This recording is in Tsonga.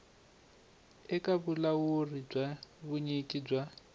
eka vulawuri bya vunyiki bya